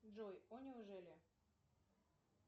джой о неужели